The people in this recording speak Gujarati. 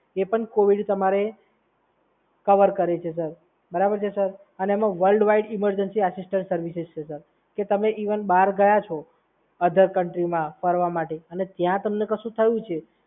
એ પણ કોવિડ તમારે કવર કરે છે, સર. બરાબર છે, સર? અને એમાં world wide emergency assistant services છે, સર કે તમે ઇવન બહાર ગયા છો આધર કન્ટ્રીમાં ફરવા માટે અને ત્યાં તમને કશું થયું છે